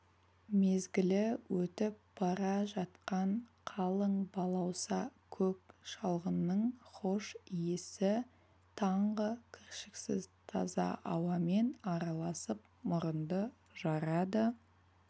мезгілі өтіп бара жатқан қалың балауса көк шалғынның хош иісі таңғы кіршіксіз таза ауамен араласып мұрынды жарады